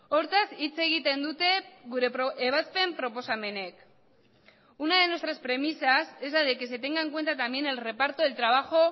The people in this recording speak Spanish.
hortaz hitz egiten dute gure ebazpen proposamenek una de nuestras premisas es la de que se tenga en cuenta también el reparto del trabajo